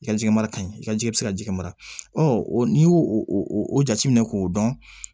I ka jɛgɛ mara in i ka ji bɛ se ka jɛgɛ mara ɔ n'i y'o o o jate minɛ k'o dɔn